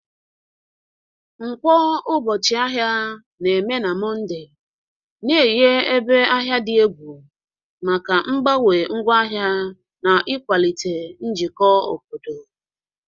Nkwo, ụbọchị ahịa, na-eme na Mọnde, na-enye ebe ahịa dị egwu maka mgbanwe ngwaahịa na ịkwalite njikọ obodo